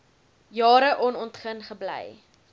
jare onontgin gebly